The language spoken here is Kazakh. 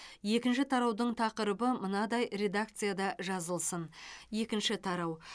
екінші тараудың тақырыбы мынадай редакцияда жазылсын екінші тарау